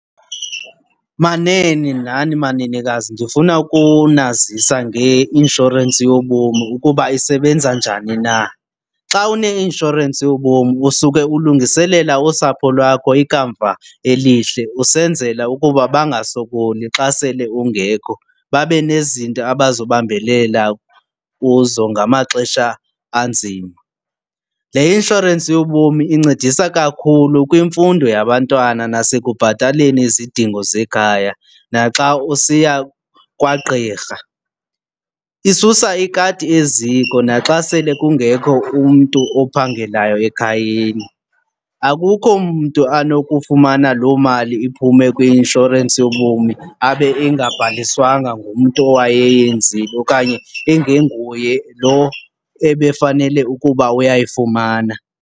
Manene nani manenekazi, ndifuna ukunazisa ngeinshorensi yobomi ukuba isebenza njani na. Xa uneinshorensi yobomi usuke ulungiselela usapho lwakho ikamva elihle usenzela ukuba bangasokoli xa sele ungekho babe nezinto abazobambelela kuzo ngamaxesha anzima. Le inshorensi yobomi incedisa kakhulu kwimfundo yabantwana nasekubhataleni izidingo zekhaya naxa usiya kwagqirha. Isusa ikati eziko naxa sele kungekho umntu ophangelayo ekhayeni. Akukho mntu anokufumana loo mali iphume kwi-inshorensi yobomi abe engabhaliswanga ngumntu owayeyenzile okanye ingenguye lo ebefanele ukuba uyayifumana.